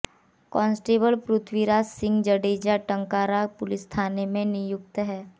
constable Prithviraj Singh Jadeja Tankara police थाने में नियुक्त हैं